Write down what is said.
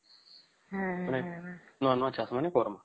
ହୁଁ ହୁଁ ମାନେ ନୂଆ ନୂଆ ଚାଷ ମାନେ କରମା